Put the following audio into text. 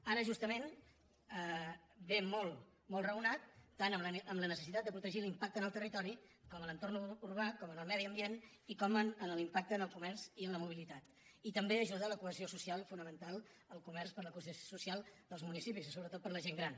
ara justament ve molt raonat tant amb la necessitat de protegir l’impacte en el territori com en l’entorn urbà com en el medi ambient i com en l’im·pacte en el comerç i en la mobilitat i també ajuda a la cohesió social fonamental al comerç per la cohesió social dels municipis i sobretot per la gent gran